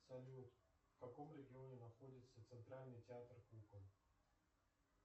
салют в каком регионе находится центральный театр кукол